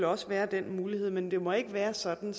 også være den mulighed men det må ikke være sådan